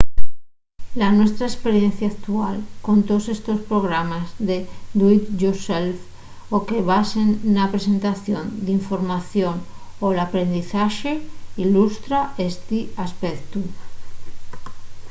la nuestra esperiencia actual con toos estos programes de do-it-yourself o que se basen na presentación d’información o l’aprendizaxe ilustra esti aspectu